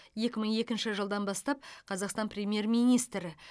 екі мың екінші жылдан бастап қазақстан премьер министрі